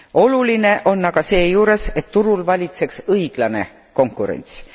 Oluline on aga seejuures, et turul valitseks õiglane konkurents.